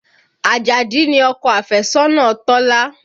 Àjàdí ni ọkọ afẹ́sọ́nà Tọ́lá